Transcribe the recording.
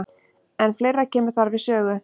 En fleira kemur þar við sögu.